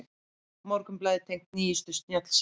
Morgunblaðið tengt nýjustu snjallsímum